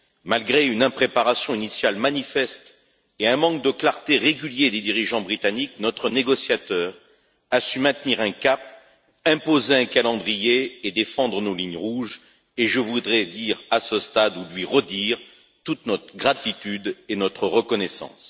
Malgré une impréparation initiale manifeste et un manque de clarté régulier des dirigeants britanniques, notre négociateur a su maintenir un cap, imposer un calendrier et défendre nos lignes rouges, et je voudrais dire à ce stade ou lui redire toute notre gratitude et notre reconnaissance.